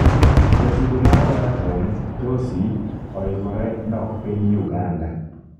jatugo mar Everton Tosi oikore dok piny Uganda